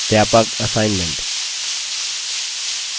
व्यापक assignment